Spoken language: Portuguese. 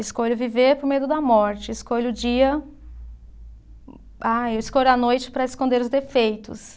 Escolho viver por medo da morte, escolho o dia. Ah, eu escolho a noite para esconder os defeitos.